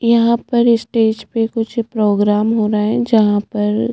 यहाँ पर स्टेज पे कुछ प्रोग्राम हो रहा है जहाँ पर --